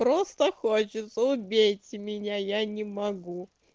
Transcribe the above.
просто хочется убейте меня я не могу